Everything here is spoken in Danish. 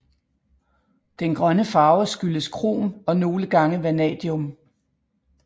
Den grønne farve skyldes krom og nogle gange vanadium